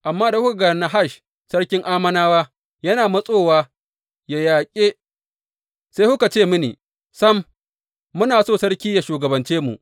Amma da kuka ga Nahash sarkin Ammonawa yana matsowa yă yaƙe, sai kuka ce mini, Sam, muna so sarki yă shugabance mu.